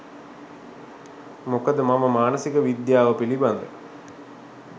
මොකද මම මානසික විද්‍යාව පිළිබද